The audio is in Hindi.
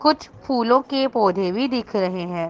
कुछ फूलों के पौधे भी दिख रहे हैं।